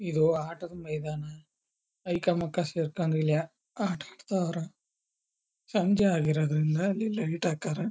ಇದು ಆಟದ ಮೈದಾನ ಐಕಮಕ ಸೇರ್ಕೊಂಡ್ ಇಲ್ಲಿ ಆಟ ಅಡ್ತವರ ಸಂಜೆ ಆಗಿರೋದ್ರಿಂದ ಅಲ್ಲಿ ಲೈಟ್ ಆಕಾರ--